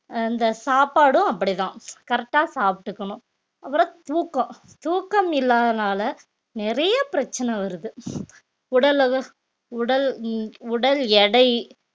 அஹ் இந்த சாப்பாடும் அப்படிதான் correct ஆ சாப்பிட்டுக்கணும் அப்புறம் தூக்கம் தூக்கம் இல்லாதனால நிறைய பிரச்சனை வருது உடல் உடல் உம் உடல் எடை